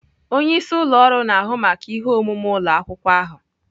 Onye isi ụlọ ọrụ na-ahụ maka ihe omume ụlọ akwụkwọ ahụ.